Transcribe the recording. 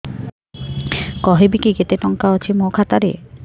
କହିବେକି କେତେ ଟଙ୍କା ଅଛି ମୋ ଖାତା ରେ